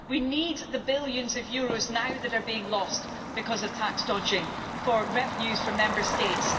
We need the billions of euros that are being lost because of tax dodging now for revenues for Member States.